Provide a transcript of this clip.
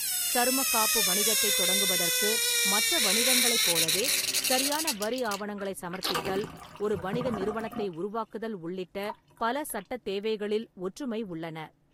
சருமக் காப்பு வணிகத்தைத் தொடங்குவதற்கு மற்ற வணிகங்களைப் போலவே சரியான வரி ஆவணங்களைச் சமர்ப்பித்தல், ஒரு வணிக நிறுவனத்தை உருவாக்குதல் உள்ளிட்ட பல சட்டத் தேவைகளில் ஒற்றுமை உள்ளன.